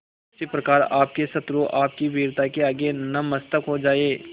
उसी प्रकार आपके शत्रु आपकी वीरता के आगे नतमस्तक हो जाएं